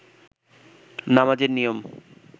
নামাজের নিয়ম